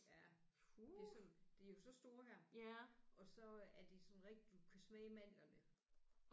Ja det er sådan de er jo så store her og så er de sådan rigtig du kan smage mandlerne